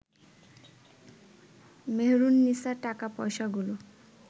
মেহেরুননিসা টাকা পয়সাগুলো